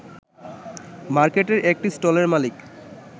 মার্কেটের একটি স্টলের মালিক